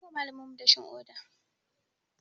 An yi wa malaminmu dashin ƙoda.